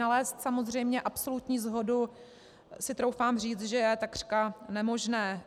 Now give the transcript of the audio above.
Nalézt samozřejmě absolutní shodu si troufám říct, že je takřka nemožné.